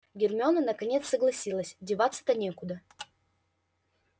гермиона наконец согласилась деваться-то некуда